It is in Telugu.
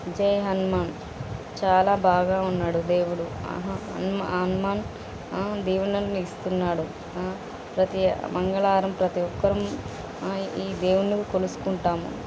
జై హనుమాన్ . చాలా బాగా ఉన్నాడు దేవుడు. ఆహా హనుమాన్ ఆ దీవెనలను ఇస్తున్నాడు ఆ ప్రతి మంగళవారం ప్రతి ఒక్కరు ఆ ఈ దేవుని కొలుసుకుంటాము.